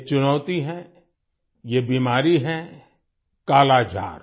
ये चुनौती ये बीमारी है कालाजार